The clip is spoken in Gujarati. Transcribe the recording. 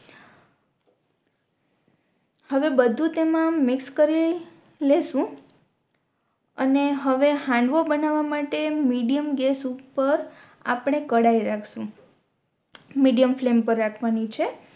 હવે બધુ તેમાં મિક્સ કરી લેશુ અને હવે હાંડવો બનાવા માટે મીડિયમ ગેસ ઉપર આપણે કઢાઈ રાખશુ મીડિયમ ફ્લેમ પર રાખવાની છે